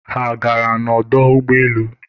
ha a gara n'ọdọ ụgbọelu?